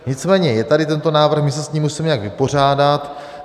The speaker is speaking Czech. Nicméně je tady tento návrh, my se s ním musíme nějak vypořádat.